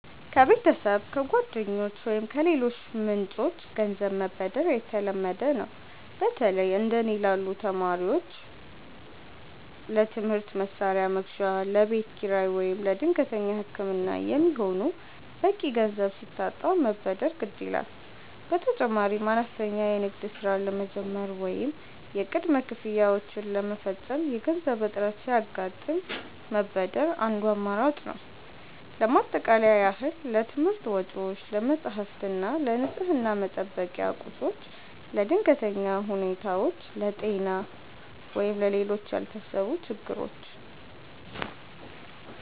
ከቤተሰብ፣ ከጓደኞች ወይም ከሌሎች ምንጮች ገንዘብ መበደር የተለመደ ነው። በተለይ እንደ እኔ ላሉ ተማሪዎች ለትምህርት መሣሪያ መግዣ፣ ለቤት ኪራይ ወይም ለድንገተኛ ሕክምና የሚሆን በቂ ገንዘብ ሲታጣ መበደር ግድ ይላል። በተጨማሪም አነስተኛ የንግድ ሥራ ለመጀመር ወይም የቅድመ ክፍያዎችን ለመፈጸም የገንዘብ እጥረት ሲያጋጥም መበደር አንዱ አማራጭ ነው። ለማጠቃለያ ያህል: ለትምህርት ወጪዎች፦ ለመጻሕፍት እና ለንፅህና መጠበቂያ ቁሶች። ለድንገተኛ ሁኔታዎች፦ ለጤና ወይም ለሌሎች ያልታሰቡ ችግሮች።